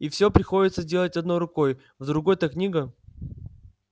и всё приходится делать одной рукой в другой-то книга